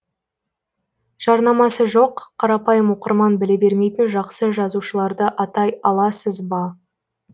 жарнамасы жоқ қарапайым оқырман біле бермейтін жақсы жазушыларды атай аласыз ба